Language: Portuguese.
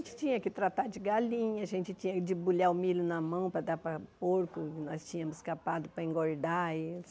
A gente tinha que tratar de galinha, a gente tinha que debulhar o milho na mão para dar para porco, nós tínhamos capado para engordar eles.